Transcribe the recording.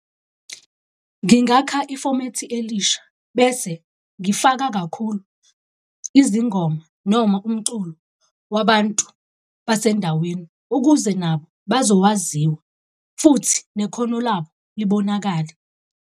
Ngingakha ifomethi elisha bese ngifaka kakhulu izingoma noma umculo wabantu basendaweni, ukuze nabo bazokwaziswa futhi nekhono labo libonakale.